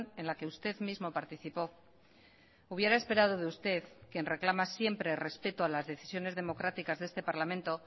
en la que usted mismo participó hubiera esperado de usted quien reclama siempre respeto a las decisiones democráticas de este parlamento